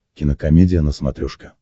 кинокомедия на смотрешке